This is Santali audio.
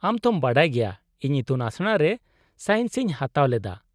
-ᱟᱢ ᱛᱷᱚᱢ ᱵᱟᱰᱟᱭ ᱜᱮᱭᱟ ᱤᱧ ᱤᱛᱩᱱᱟᱥᱲᱟ ᱨᱮ ᱥᱟᱭᱮᱱᱥ ᱤᱧ ᱦᱟᱛᱟᱣ ᱞᱮᱫᱟ ᱾